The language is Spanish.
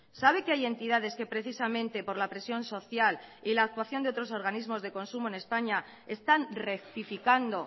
sabe que hay entidades que precisamente por la presión social y la actuación de otros organismos de consumo en españa están rectificando